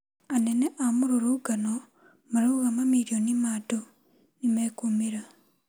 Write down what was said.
Anene a mũrũrũngano marauga mamirioni ma andũ nimekumĩra